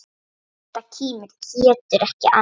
Edda kímir, getur ekki annað.